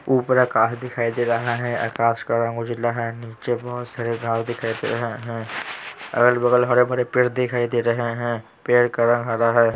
ऊपर आकाश दिखाई दे रहा है आकाश का रंग उजला है नीचे बहुत सारे घास दिखाई दे रहे हैं अगल-बगल हरे भरे पेड़ दिखाई दे रहे हैं पेड़ का रंग हरा है।